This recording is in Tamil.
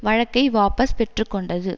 வழக்கை வாபஸ் பெற்று கொண்டது